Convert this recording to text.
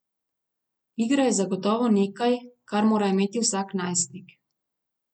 Igra je zagotovo nekaj, kar mora imeti vsak najstnik.